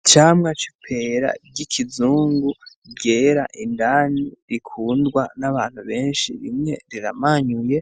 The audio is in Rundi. Icamwa c'ipera ry'ikizungu ryera indani rikundwa n'abantu benshi, rimwe riramanyuye